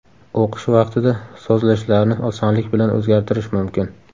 O‘qish vaqtida sozlashlarni osonlik bilan o‘zgartirish mumkin.